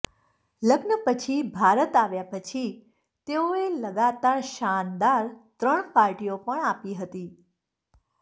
લગ્ન પછી ભારત આવ્યા પછી તેઓએ લગાતાર શાનદાર ત્રણ પાર્ટીઓ પણ આપી હતી